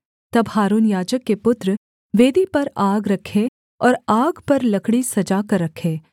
तब हारून याजक के पुत्र वेदी पर आग रखें और आग पर लकड़ी सजा कर रखे